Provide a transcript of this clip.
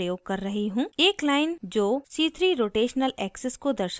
एक line जो c3 rotational axis को दर्शाती है उसे draw करने के लिए